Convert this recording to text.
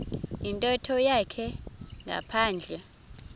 yintetho yakhe ngaphandle